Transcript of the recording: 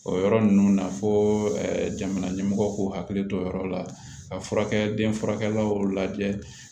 O yɔrɔ ninnu na fo jamana ɲɛmɔgɔw k'u hakili to o yɔrɔ la ka furakɛliw lajɛ